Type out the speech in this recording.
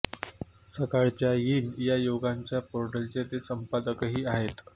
सकाळच्या यीन या युवकांच्या पोर्टलचे ते संपादकही आहेत